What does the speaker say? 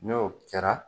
N'o kɛra